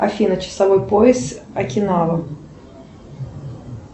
афина часовой пояс окинава